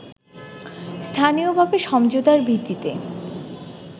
স্থানীয়ভাবে সমঝোতার ভিত্তিতে